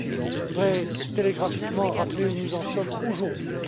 Je voudrais télégraphiquement rappeler où nous en sommes aujourd'hui.